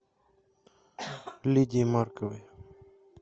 лидии марковой